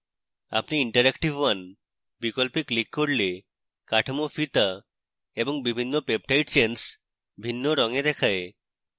আপনি interactive 1 বিকল্পে click করলে: কাঠামো ফিতা এবং বিভিন্ন peptide chains ভিন্ন রঙে দেখায়